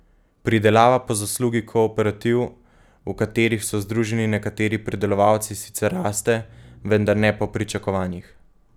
Pridelava po zaslugi kooperativ, v katerih so združeni nekateri pridelovalci, sicer raste, vendar ne po pričakovanjih.